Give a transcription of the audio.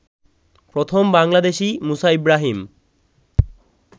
প্রথম বাংলাদেশি মুসা ইব্রাহীম